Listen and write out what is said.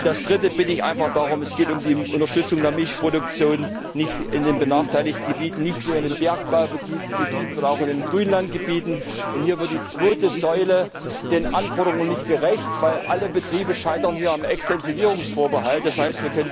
Und drittens Ich bitte einfach darum, es geht um die Unterstützung der Milchproduktion nicht nur in den benachteiligten Gebieten, nicht nur in den Bergbaugebieten, sondern auch in den Grünlandgebieten Hier wird die zweite Säule den Anforderungen nicht gerecht, denn alle Betriebe scheitern hier am Extensivierungsvorbehalt, d. h.,